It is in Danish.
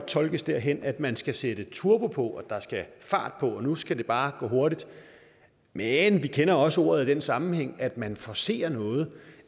tolkes derhen at man skal sætte turbo på at der skal fart på og at nu skal det bare gå hurtigt men vi kender også ordet i den sammenhæng at man forcerer noget